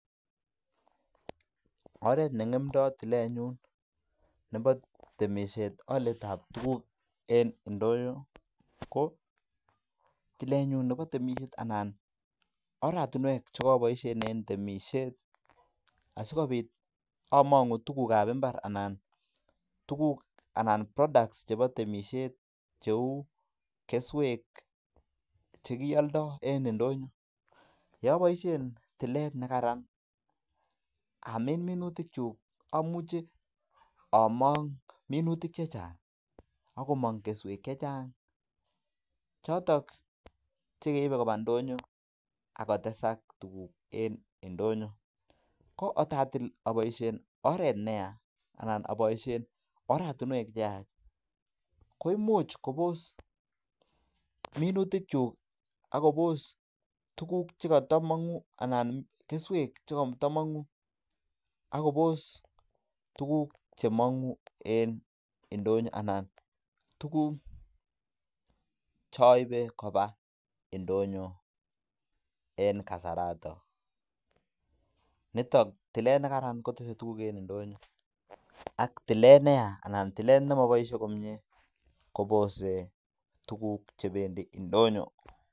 Oret ne ngemdoi tilenyun nebo temisiet olyetab tukuk en ndonyo ko, tilenyun nebo temisiet anan oratinwek chokoboisien chebo temisiet asikobit amangu tukukab imbar anan tukuk anan products chebo temisiet cheu keswek che kioldoi en idonyo, ye boisien tilet ne kararan amin minutikyuk amuche among minutik che chang ak komong keswek che chang, chotok che keibe koba ndonyo akotesak tukuk en indonyo, ko kot atil aboisien oret ne ya anan aboisien oratinwek che yach, koimuch kobos minutikyuk akobos tukuk che katamangu anan keswek che katamangu akobos tukuk che mangu en indonyo anan tukuk choibe koba indonyo en kasarato, nitok tilet ne kararan kotese tukuk en indonyo ak tilet ne ya anan tilet ne moboisie komie kobose tukuk chebendi indonyo.